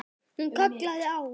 Hún kallaði á